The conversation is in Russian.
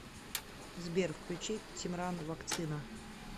сбер включи тимран вакцина